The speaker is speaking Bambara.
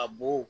A bo